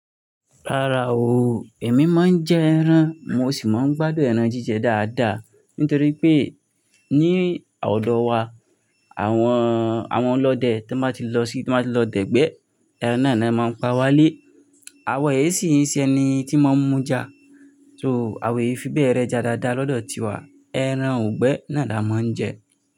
Rárá o, èmi máa ń jẹ ẹran, mo sì máa ń gbádùn ẹran jíjẹ dáadáa. Nítorí pé ní ọ̀dọ̀ wa àwọn, àwọn ọlọ́dẹ tí wọ́n bá ti lọ sí, tí wọ́n bá ti lọ dẹ̀gbẹ́ ẹran náà ni wọ́n máa ń pa wálé. Awọ èéṣí ṣe ẹni tí máa ń muja. So àwọn èéfí bẹ́ẹ̀ rẹja dáadáa lọ́dọ̀ tiwa. Eran ugbẹ́ naa la máa ń jẹ.